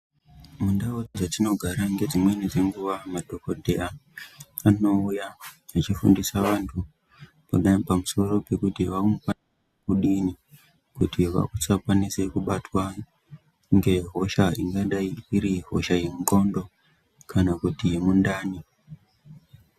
Mundau dzatinogara nedzimweni dzenguva madhokodhera anouya echifundisa vantu kuda pamusoro pekuti kuti vanga diini kuti vasakwanise kubatwa ngehosha ingadai iri hosha yendxondo kana kuti yemundani.